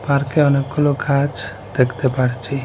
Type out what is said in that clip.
পার্কে অনেকগুলো গাছ দেখতে পারছি।